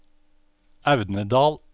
Audnedal